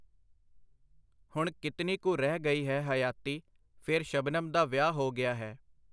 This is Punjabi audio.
ਹੁਣ ਕਿਤਨੀ ਕੁ ਰਹਿ ਗਈ ਹੈ ਹਯਾਤੀ? ਫੇਰ, ਸ਼ਬਨਮ ਦਾ ਵਿਆਹ ਹੋ ਗਿਆ ਹੈ.